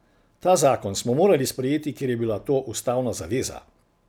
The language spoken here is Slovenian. Ta zakon smo morali sprejeti, ker je bila to ustavna zaveza.